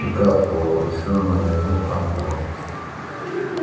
и капсула вручённая ему хантером